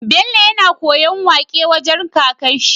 Bello yAna koyan waƙe wajan kakar shi